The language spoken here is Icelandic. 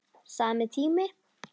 Sami tími.